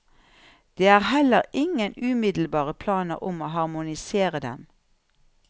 Det er heller ingen umiddelbare planer om å harmonisere dem.